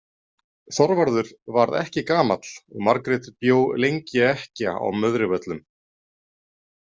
Þorvarður varð ekki gamall og Margrét bjó lengi ekkja á Möðruvöllum.